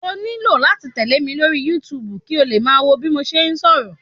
O nílò láti tẹle mi lórí YouTube kí o lè máa wo bí mo ṣe ń sọ̀rọ̀.